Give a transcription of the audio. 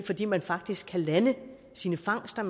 fordi man faktisk kan lande sine fangster